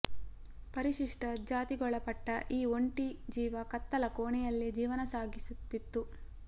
ಪರಿಶಿಷ್ಟ ಜಾತಿಗೊಳಪಟ್ಟ ಈ ಒಂಟಿ ಜೀವ ಕತ್ತಲ ಕೋಣೆಯಲ್ಲೆ ಜೀವನ ಸಾಗಿಸುತ್ತಿತ್ತು